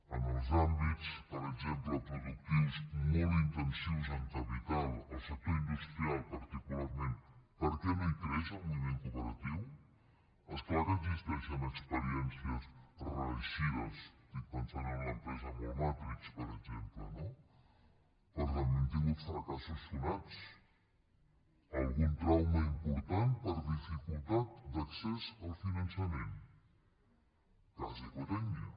en els àmbits per exemple productius molt intensius en capital al sector industrial particularment per què no hi creix el moviment cooperatiu és clar que existeixen experiències reeixides estic pensant en l’empresa mol matric per exemple no però també hem tingut fracassos sonats algun trauma important per dificultat d’accés al finançament el cas ecotècnia